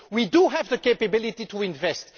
We do have the capability to invest.